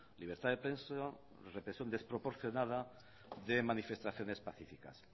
libertad de prensa represión desproporcionada de manifestaciones pacíficas